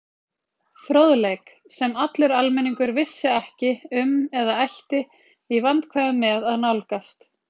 Fróðleik, sem allur almenningur vissi ekki um eða ætti í vandkvæðum með að nálgast.